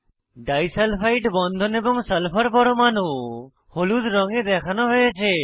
disulphide বন্ধন এবং sulphur পরমাণু হলুদ রঙে দেখানো হয়েছে